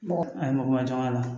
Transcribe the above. Mɔgɔ a ye mɔgɔ ma jɔn a la